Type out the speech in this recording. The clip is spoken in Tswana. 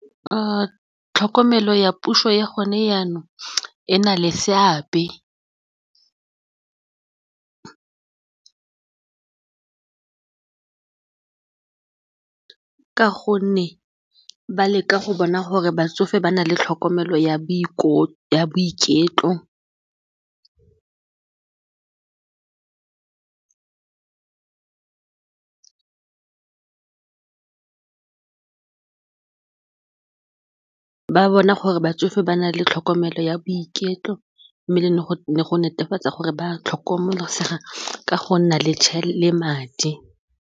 Tlhokomelo ya puso ya gone jaanong e na le seabe ka gonne ba leka go bona gore batsofe ba na le tlhokomelo, ba bona gore batsofe ba na le tlhokomelo ya boiketlo mme go netefatsa gore ba tlhokomelwa ka go nna le madi.